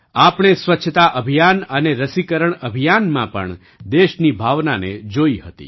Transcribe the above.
આપણે સ્વચ્છતા અભિયાન અને રસીકરણ અભિયાનમાં પણ દેશની ભાવનાને જોઈ હતી